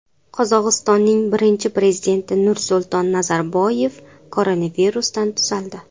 Qozog‘istonning birinchi prezidenti Nursulton Nazarboyev koronavirusdan tuzaldi.